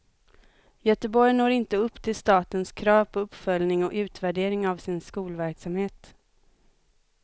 Göteborg når inte upp till statens krav på uppföljning och utvärdering av sin skolverksamhet.